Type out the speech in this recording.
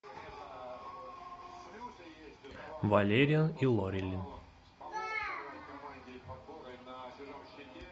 валериан и лорелин